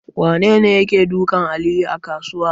Wanene yake dukan Aliyu a kasuwa?